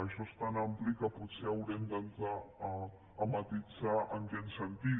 això és tan ampli que potser haurem d’entrar a matisar en quin sentit